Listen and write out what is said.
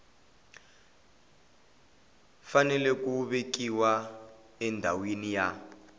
fanele ku vekiwa endhawini ya